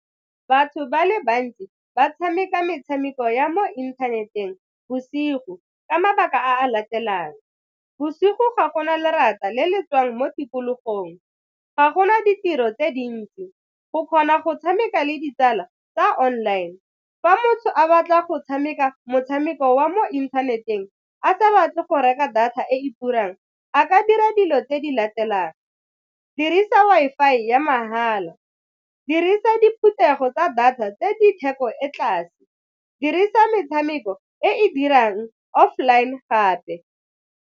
Batho ba le bantsi ba tshameka metshameko ya mo inthaneteng bosigo ka mabaka a latelang, bosigo ga gona lerata le le tswang mo tikologong, ga gona ditiro tse dintsi go kgona go tshameka le ditsala tsa online. Fa motho a batla go tshameka motshameko wa mo inthaneteng a sa batle go reka data e e turang a ka dira dilo tse di latelang, dirisa Wi-Fi ya mahala, dirisa diphuthego tsa data tse ditheko e tlase, dirisa metshameko e e dirang offline gape.